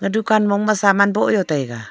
e dukan mong ma saman bow jaw taiga.